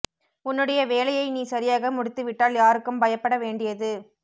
உன்னுடைய வேலையை நீ சரியாக முடித்து விட்டால் யாருக்கும் பயப்பட வேண்டியது